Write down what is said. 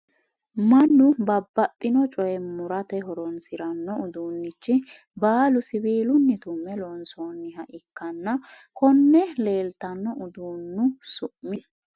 mannu babbaxino coye murate horonsiranno uduunichi baalu siwiilunni tumme loonsoonniha ikkanna, konne leeltanno uduunnu su'mi maati? mayi mayi horora hossannoreeti?